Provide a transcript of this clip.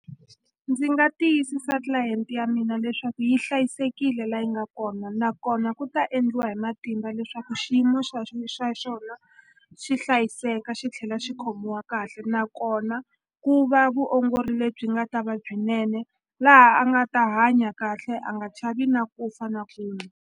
Ndzi nga tiyisisa tlilayenti ya mina leswaku yi hlayisekile la yi nga kona nakona ku ta endliwa hi matimba leswaku xiyimo xa xa xona xi hiseka xi tlhela xi khomiwa kahle nakona ku va vuongori lebyi nga ta va byinene laha a nga ta hanya kahle a nga chavi na ku fa na kun'we.